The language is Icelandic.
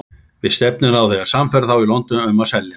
Við stefnum á að sannfæra þá í London um að selja hann.